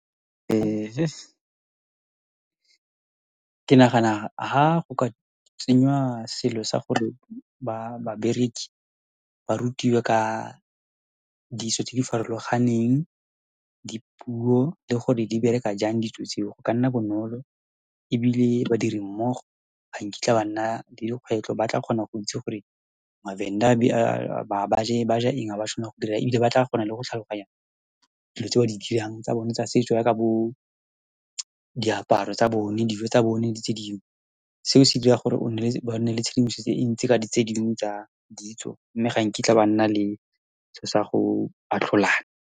Ke nagana ha go ka tsenyiwa selo sa gore ba bereki ba rutiwe ka ditso tse di farologaneng, dipuo le gore di bereka jang ditso tseo go ka nna bonolo, ebile badiri mmogo ha nkitla ba nna le dikgwetlho. Ba tla kgona go itse gore MaVenda ba ja eng, ha ba tshwanela go dira eng, ebile ba tla kgona le go tlhaloganya dilo tse ba di dirang tsa bone tsa setso, jaaka bo diaparo tsa bone, dijo tsa bone, le tse dingwe. Seo se dira gore o ba nne le tshedimosetso e ntsi ka di, tsedingwe tsa ditso, mme ga nkitla ba nna le selo sa go atlholana.